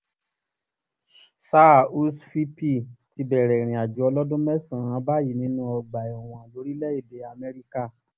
sáà húshhvilpì ti bẹ̀rẹ̀ ìrìnàjò ọlọ́dún mẹ́sàn-án báyìí nínú ọgbà ẹ̀wọ̀n lórílẹ̀-èdè amẹ́ríkà